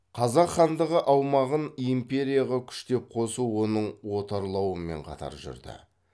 қазақ хандығы аумағын империяға күштеп қосу оның отарлауымен қатар жүрді